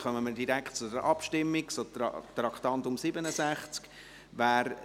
Dann kommen wir direkt zur Abstimmung zu Traktandum 67.